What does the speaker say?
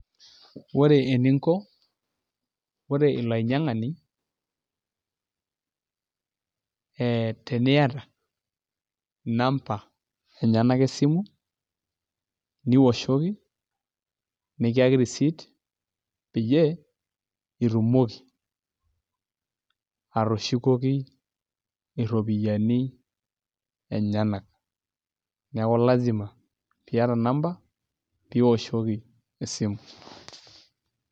Ore eninko ore ilo ainyiangani ee teniyata inamba enyanak esimu nioshoki, nikiyaki risiit peyie itumoki atushokoki iropiyiani enyanak. Neeku lasima piata inamba pioshoki esimu.